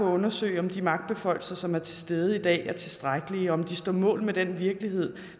at undersøge om de magtbeføjelser som er til stede i dag er tilstrækkelige og om de står mål med den virkelighed